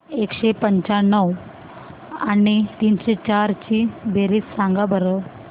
एकशे पंच्याण्णव आणि तीनशे चार ची बेरीज सांगा बरं